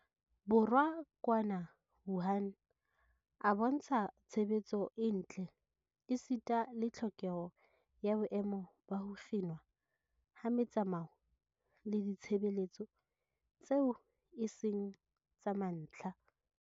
Borwa kwana Wuhan a bontsha tshebetso e ntle esita le tlhokeho ya boemo ba ho kginwa ha metsamao le ditshebeletso tseo e seng tsa mantlha.